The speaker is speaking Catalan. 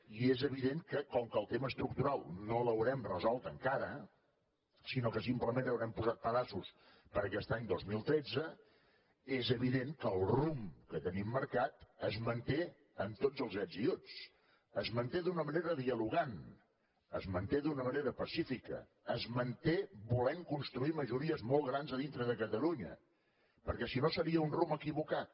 i és evident que com que el tema estructural no l’haurem resolt encara sinó que simplement haurem posat pedaços per a aquest any dos mil tretze és evident que el rumb que tenim marcat es manté amb tots els ets i uts es manté d’una manera dialogant es manté d’una manera pacífica es manté volent construir majories molt grans a dintre de catalunya perquè si no seria un rumb equivocat